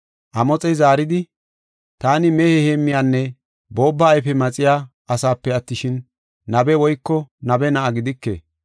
Amoxey zaaridi, “Taani mehiya heemmiyanne boobba ayfe maxiya asepe attishin, nabe woyko nabe na7a gidike.